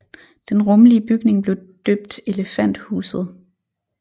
Den rummelige bygning blev døbt Elefanthuset